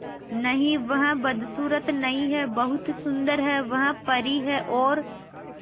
नहीं वह बदसूरत नहीं है बहुत सुंदर है वह परी है और